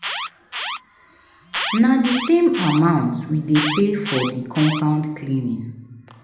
Na di same amount we dey pay for di compound cleaning.